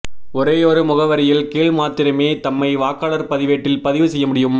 ஒரேயொரு முகவரியின் கீழ்மாத்திரமே தம்மை வாக்காளர் பதிவேட்டில் பதிவு செய்ய முடியும்